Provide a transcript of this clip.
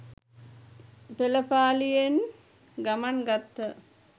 පෙළපාලියෙන් ගමන් ගත්හ.